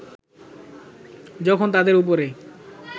যখন তাদের উপরে